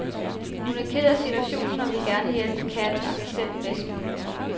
Hun er ked af situationen og vil gerne hjælpe katten og sig selv bedst muligt.